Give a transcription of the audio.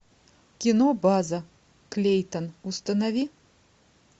кино база клейтон установи